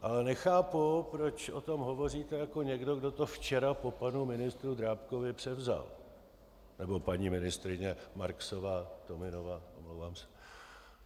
Ale nechápu, proč o tom hovoříte jako někdo, kdo to včera po panu ministru Drábkovi převzal, nebo paní ministryně Marksová-Tominová, omlouvám se.